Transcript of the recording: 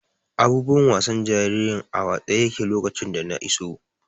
Abubuwan wasan jaririn a watse yaƙe lokacin da na iso.